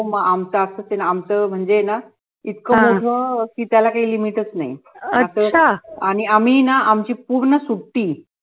हो म आमचं असंच आहे आमचं म्हणजे इतकं मोठं कि त्याला काही limit च नाही आणि आम्ही ना आमची पूर्ण सुट्टी